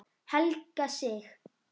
Helga Sig.